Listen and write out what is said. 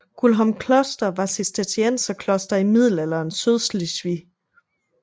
Guldholm kloster var et Cistercienserkloster i middelalderens Sydslesvig